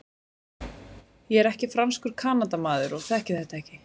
Ég er ekki franskur Kanadamaður og þekki þetta ekki.